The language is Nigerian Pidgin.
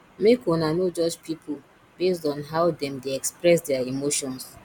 make una no judge pipo based on how dem dey express their emotions